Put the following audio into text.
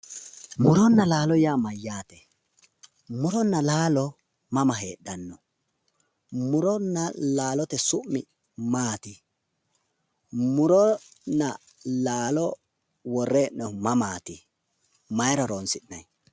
Muronna laalo yaa mayyaate? Muronna laalo mama heedhanno? Muronna laalote su'mi maat? Muronna laalo worre hee'noyhu mamat maayra horonsi'nay?